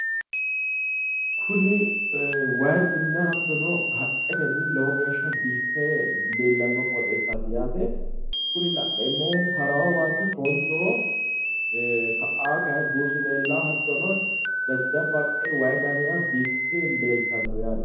Kuni wayiinninna haqqetenni lowo geeshsha biiffe leellawo qoxeessaati yaate kuni la'neemmohu harawo waati foonchoho ka'a kayi buusu leellawo hattono jajjabba haqqe wayi gamira biiffe leeltanno yaate.